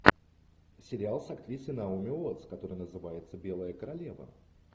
сериал с актрисой наоми уоттс который называется белая королева